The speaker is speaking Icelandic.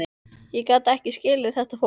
Ég gat ekki skilið þetta fólk.